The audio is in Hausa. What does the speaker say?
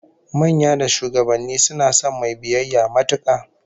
Manya da shugabanni suna son mai biyayya matuka